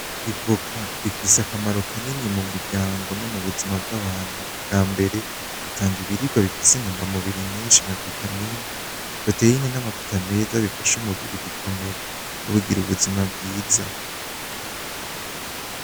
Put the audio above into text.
Ivoka ifise akamaro kanini mu muryango no mubuzima bw’abantu itanga ibiribwa bifise intuga mubiri nyinshi nka vitamine lpoteyine namavuta meza bifasha umubiri gukomera kungira ubuzima bwiza.